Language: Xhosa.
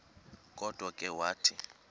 kodwa ke wathi